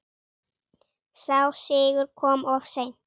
Sá sigur kom of seint.